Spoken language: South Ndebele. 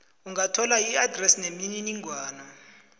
ungathola iadresi nemininingwana